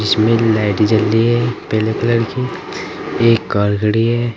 इसमें लाइट जल रही है पेले कलर की। एक कार खड़ी है।